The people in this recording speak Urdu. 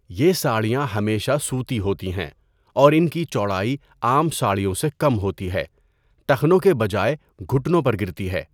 یہ ساڑیاں ہمیشہ سوتی ہوتی ہیں اور ان کی چوڑائی عام ساڑیوں سے کم ہوتی ہے، ٹخنوں کے بجائے گھٹنوں پر گرتی ہے۔